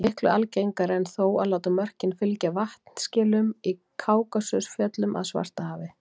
Miklu algengara er þó að láta mörkin fylgja vatnaskilum í Kákasusfjöllum að Svartahafi.